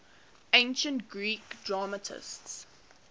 ancient greek dramatists